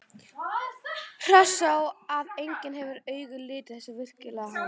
Hressó að enginn hefði augum litið þessar yrkingar hans?